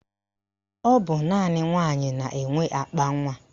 Ọ bụ naanị nwaanyị na-enwe akpanwa